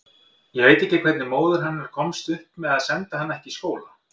Ég veit ekki hvernig móðir hennar komst upp með að senda hana ekki í skóla.